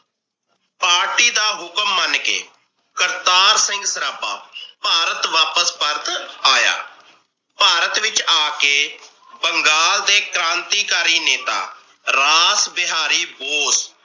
party ਦਾ ਹੁਕਮ ਮਨ ਕੇ ਕਰਤਾਰ ਸਿੰਘ ਸਰਾਬਾ ਭਾਰਤ ਵਾਪਸ ਪਰਤ ਆਇਆ। ਭਾਰਤ ਵਿਚ ਆ ਕੇ ਬੰਗਾਲ ਦੇ ਕ੍ਰਾਂਤੀ ਕਾਰੀ ਨੇਤਾ ਰਾਸ ਬਿਹਾਰੀ ਬੋਸ